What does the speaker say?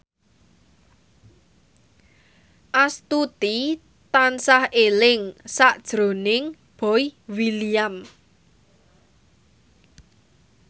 Astuti tansah eling sakjroning Boy William